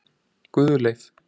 Guðleif